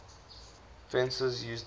fencers use differ